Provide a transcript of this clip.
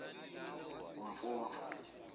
umfumfu